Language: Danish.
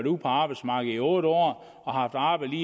ude på arbejdsmarkedet i otte år og haft arbejde